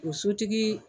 O sotigi